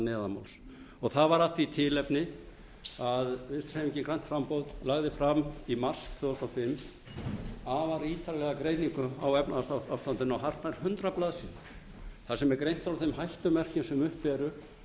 neðanmáls og það var af því tilefni að vinstri hreyfingin grænt framboð lagði fram í mars tvö þúsund og fimm afar ítarlega greiningu á efnahagsástandinu á hartnær hundrað blaðsíðum þar sem greint er frá þeim hættumerkjum sem uppi eru